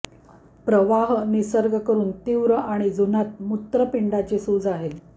प्रवाह निसर्ग करून तीव्र आणि जुनाट मूत्रपिंडाची सूज आहेत